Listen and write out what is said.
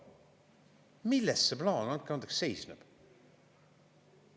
Milles see plaan, andke andeks, seisneb?